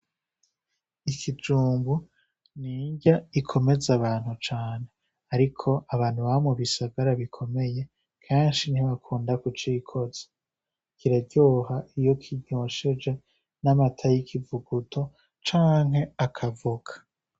Ikijumbu n'inrya ikomeza abantu cane, ariko abantu baba mu bisagara bikomeye kenshi ntibakunda kucikoza, kiraryoha iyo kinyosheje n'amata y'ikivuguto canke akavoka.